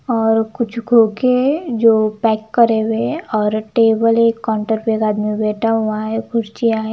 और कुछ खोके जो पैक करे हुए हैं और टेबल एक काउंटर पे एक आदमी बैठा हुआ है कुर्चिया हैं।